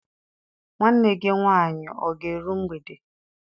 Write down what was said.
Nwanne gị nwaanyị ọ ga-eru mgbede?